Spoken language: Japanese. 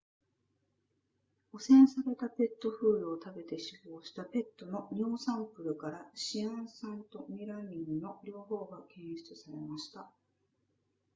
汚染されたペットフードを食べて死亡したペットの尿サンプルからシアン酸とメラミンの両方が検出されました